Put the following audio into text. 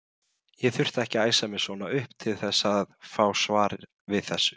Ég þurfti ekki að æsa mig svona upp til þess að fá svar við þessu.